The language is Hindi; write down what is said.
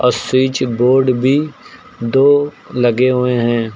और स्विच बोर्ड भी दो लगे हुए हैं।